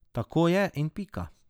Tako je in pika.